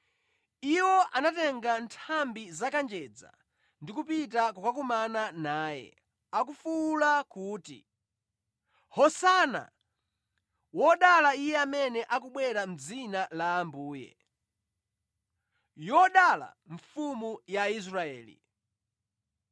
Iwo anatenga nthambi za kanjedza ndi kupita kukakumana naye, akufuwula kuti, “Hosana! “Wodala Iye amene akubwera mʼdzina la Ambuye! “Yodala Mfumu ya Israeli!”